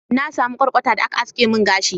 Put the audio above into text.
na samu kwarkwata da aka haske mun gashi